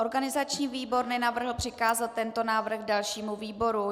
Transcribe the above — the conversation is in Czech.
Organizační výbor nenavrhl přikázat tento návrh dalšímu výboru.